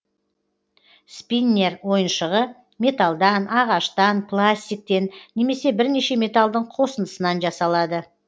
спиннер ойыншығы металдан ағаштан пластиктен немесе бірнеше металдың қосындысынан жасалады